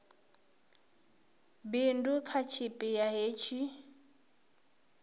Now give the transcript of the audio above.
bindu kha tshipi ḓa hetshi